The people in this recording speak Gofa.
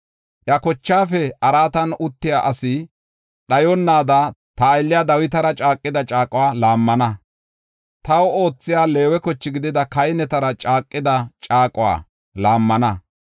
iya kochaafe araatan uttiya asi dhayonnaada, ta aylliya Dawitara caaqida caaquwa laammana; taw oothiya, Leewe koche gidida kahinetara caaqida caaquwa laammana.